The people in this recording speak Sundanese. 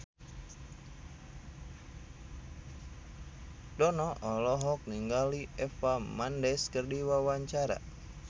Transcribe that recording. Dono olohok ningali Eva Mendes keur diwawancara